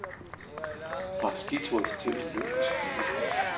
Fra skiturist til olympisk mester.